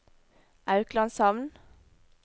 Auklandshamn